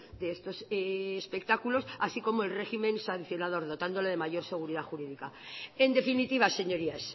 de estos espectáculos así como el régimen sancionador dotándole de mayor seguridad jurídica en definitiva señorías